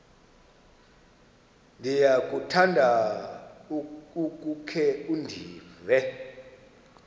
ndiyakuthanda ukukhe ndive